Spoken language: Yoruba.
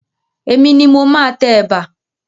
Èmi ni mo máa tẹ ẹ̀bà.